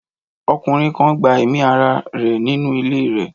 Ọkùnrin kan gba ẹ̀mí ara rẹ̀ nínú ilé rẹ̀.